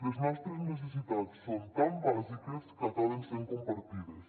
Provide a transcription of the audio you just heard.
les nostres necessitats són tan bàsiques que acaben sent compartides